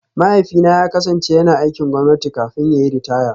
Mahaifina ya kasance yana aikin gwamnati kafin ta yi ritaya